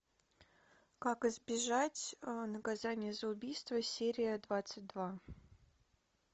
как избежать наказания за убийство серия двадцать два